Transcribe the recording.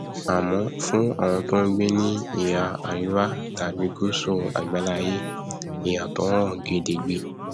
àmọ fún àwọn tó ngbé ní ìhà aríwá tàbí gùsù àgbáláaiyé ìyàtọ hàn gedegbe